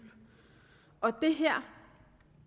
og det her